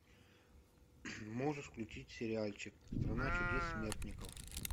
можешь включить сериальчик страна чудес смертников